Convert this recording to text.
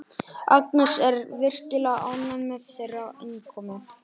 Agnes er virkilega ánægð með þeirra innkomu.